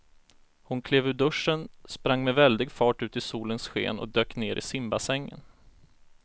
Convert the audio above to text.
Hon klev ur duschen, sprang med väldig fart ut i solens sken och dök ner i simbassängen.